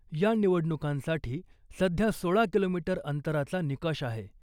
या निवडणुकांसाठी सध्या सोळा किलोमीटर अंतराचा निकष आहे .